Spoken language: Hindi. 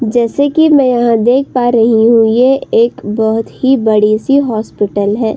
जैसे कि मैं यहाँ देख पा रही हूं ये एक बहुत ही बड़ी सी हॉस्पिटल है।